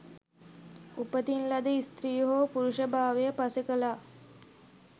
උපතින් ලද ස්ත්‍රී හෝ පුරුෂ භාවය පසෙක ලා